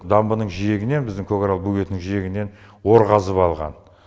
дамбының жиегінен біздің көкарал бөгетінің жиегінен ор қазып алған